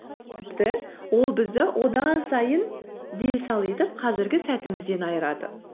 тіпті ол бізді одан сайын дел сал етіп қазіргі сәтімізден айырады